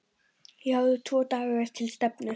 Ég hafði tvo daga til stefnu.